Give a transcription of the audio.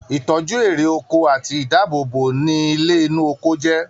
itọju ere oko ati ìdáàbòbò ni ilé inu oko jé.